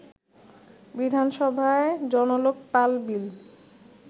বিধানসভায় জনলোকপাল বিল